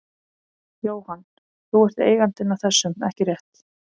Jóhann: Þú ert eigandinn að þessum, ekki rétt?